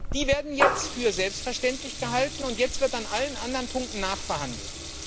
die werden jetzt für selbstverständlich gehalten, und jetzt wird an allen anderen Punkten nachverhandelt.